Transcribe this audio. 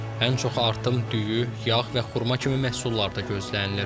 Ən çox artım düyü, yağ və xurma kimi məhsullarda gözlənilir.